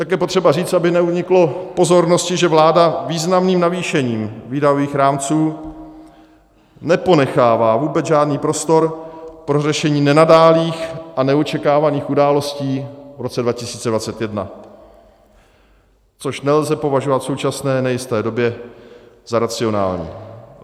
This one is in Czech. Také je potřeba říct, aby neuniklo pozornosti, že vláda významným navýšením výdajových rámců neponechává vůbec žádný prostor pro řešení nenadálých a neočekávaných událostí v roce 2021, což nelze považovat v současné nejisté době za racionální.